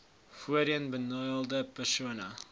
voorheen benadeelde persone